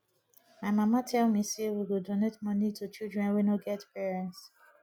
my mama tell me say we go donate money to children wey no get parents